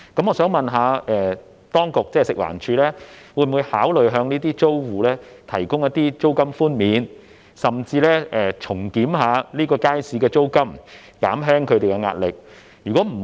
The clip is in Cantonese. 我想問，食環署會否考慮向租戶提供租金寬免，甚至重檢這個街市的租金，以減輕他們的壓力？